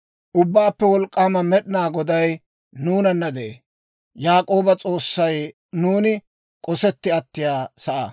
Ubbaappe Wolk'k'aama Med'inaa Goday nuunanna de'ee; Yaak'ooba S'oossay nuuni k'osetti attiyaa sa'aa.